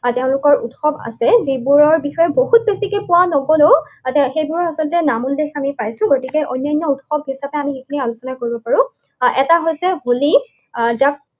তেওঁলোকৰ উৎসৱ আছে, যিবোৰৰ বিষয়ে বহুত বেছিকে পোৱা নগলেও সেইবোৰৰ আচলতে নাম উল্লেখ আমি পাইছো। গতিকে অন্যান্য উৎসৱ হিচাপে আমি সেইখিনি আলোচনা কৰিব পাৰো। আহ এটা হৈছে হোলী, আহ যাক